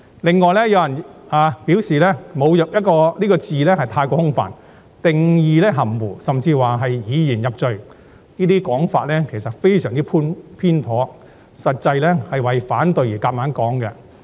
此外，有人表示"侮辱"一詞過於空泛，定義含糊，甚至批評《條例草案》是以言入罪，這些說法其實非常偏頗，實際上是為反對而硬要這樣說。